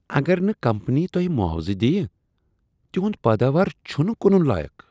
اگر نہٕ کمپنی تۄہہ معاوضہٕ دِیہ ، تہند پیداوار چھُنہٕ کٕنُن لایق۔